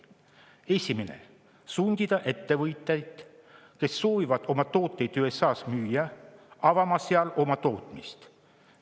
Esiteks, sundida ettevõtjaid, kes soovivad oma tooteid USA-s müüa, avama seal oma tootmist.